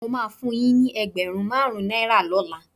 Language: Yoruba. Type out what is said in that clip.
Mo máa fun yín ní ẹgbẹ̀rún márùn-ún náírà lọ́la.